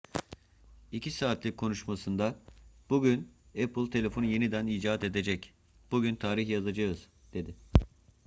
2 saatlik konuşmasında bugün apple telefonu yeniden icat edecek bugün tarih yazacağız dedi